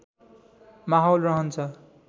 माहौल रहन्छ